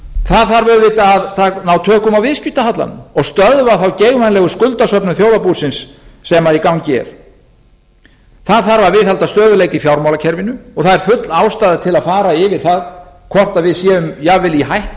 það þarf auðvitað að ná tökum á viðskiptahallanum og stöðva þá geigvænlegu skuldasöfnun þjóðarbúsins sem í gangi er það þarf að viðhalda stöðugleika í fjármálakerfinu og það er full ástæða til að fara yfir það hvort við séum jafnvel í hættu